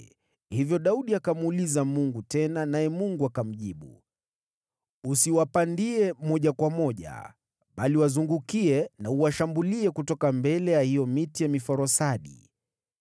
hivyo Daudi akamuuliza Mungu tena, naye Mungu akamjibu, “Usiwapandie moja kwa moja, bali wazungukie na uwashambulie kutoka mbele ya hiyo miti ya miforosadi.